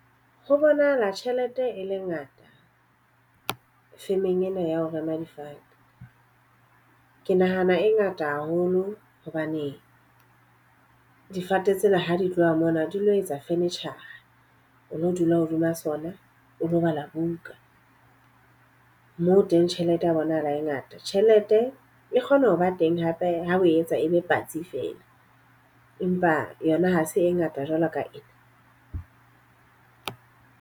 Ho bonahala tjhelete e le ngata firm-eng ena ya ho rema difate. Ke nahana e ngata haholo hobaneng difate tsena ha di tloha mona di lo etsa furniture, o lo dula hodima sona, o lo bala buka. Moo teng tjhelete ya bonahala e ngata. Tjhelete e kgona ho ba teng hape ha o etsa e be patsi fela. Empa yona ha se e ngata jwalo ka ena.